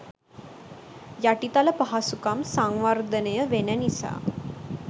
යටිතල පහසුකම් සංවර්ධනය වෙන නිසා.